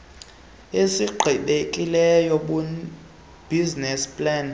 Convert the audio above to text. esigqibekileyo bunisess plan